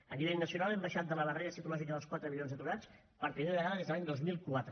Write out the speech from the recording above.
a nivell nacional hem baixat de la barrera psicològica dels quatre milions d’aturats per primera vegada des de l’any dos mil quatre